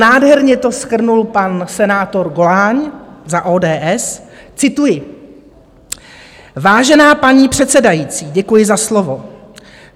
Nádherně to shrnul pan senátor Goláň za ODS - cituji: "Vážená paní předsedající, děkuji za slovo.